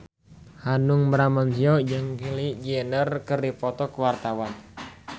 Hanung Bramantyo jeung Kylie Jenner keur dipoto ku wartawan